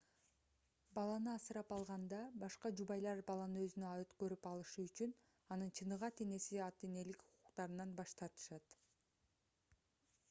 баланы асырап алганда башка жубайлар баланы өзүнө өткөрүп алышы үчүн анын чыныгы ата-энеси ата-энелик укуктарынан баш тартышат